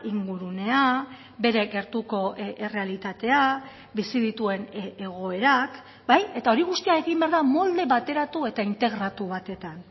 ingurunea bere gertuko errealitatea bizi dituen egoerak bai eta hori guztia egin behar da molde bateratu eta integratu batetan